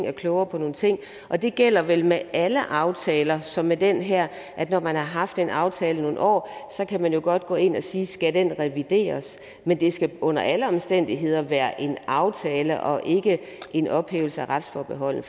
og klogere på nogle ting og det gælder vel med alle aftaler som med den her at når man har haft en aftale i nogle år kan man godt gå ind og sige skal den revideres men det skal under alle omstændigheder være en aftale og ikke en ophævelse af retsforbeholdet